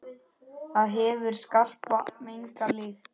Það hefur skarpa, megna lykt.